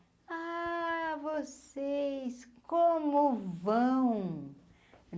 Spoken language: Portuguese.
Ah, vocês, como vão?